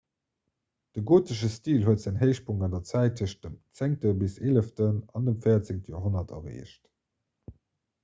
de gotesche stil huet säin héichpunkt an der zäit tëschent dem 10 bis 11 an dem 14 joerhonnert erreecht